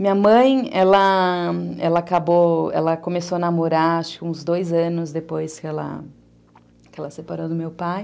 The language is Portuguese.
Minha mãe, ela, ela começou a namorar, acho que uns dois anos depois que ela separou do meu pai.